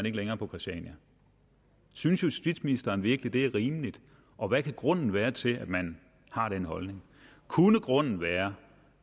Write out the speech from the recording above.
ikke længere på christiania synes justitsministeren virkelig det er rimeligt og hvad kan grunden være til at man har den holdning kunne grunden være